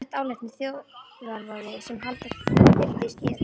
Almennt álitnir þjóðarvoði sem halda þyrfti í skefjum.